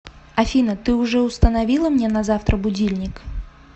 афина ты уже установила мне на завтра будильник